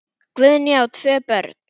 Guðný á tvö börn.